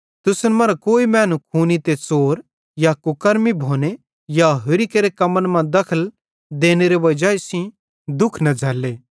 तुसन मरां कोई मैनू खूनी ते च़ोर या कुकर्मी भोने या होरि केरे कम्मन मां दखल देनेरे वजाई सेइं दुःख न झ़ैल्ले